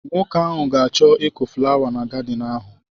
Nwoke ahụ ga achọ ịkụ fụlawa na gadịn ahụ.